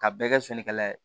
Ka bɛɛ kɛ finikala ye